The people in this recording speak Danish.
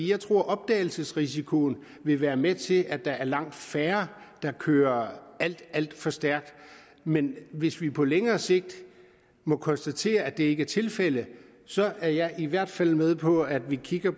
jeg tror at opdagelsesrisikoen vil være med til at der er langt færre der kører alt alt for stærkt men hvis vi på længere sigt må konstatere at det ikke er tilfældet så er jeg i hvert fald med på at vi kigger